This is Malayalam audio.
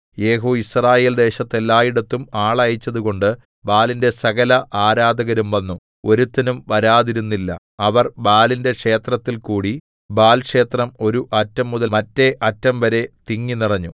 യേഹൂ യിസ്രായേൽ ദേശത്ത് എല്ലായിടത്തും ആളയച്ചതുകൊണ്ട് ബാലിന്റെ സകല ആരാധകരും വന്നു ഒരുത്തനും വരാതിരുന്നില്ല അവർ ബാലിന്റെ ക്ഷേത്രത്തിൽ കൂടി ബാൽക്ഷേത്രം ഒരു അറ്റം മുതൽ മറ്റേഅറ്റം വരെ തിങ്ങി നിറഞ്ഞു